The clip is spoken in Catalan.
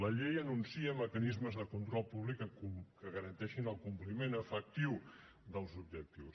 la llei anuncia mecanismes de control públic que garanteixin el compliment efectiu dels objectius